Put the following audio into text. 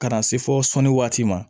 Ka na se fo sɔnni waati ma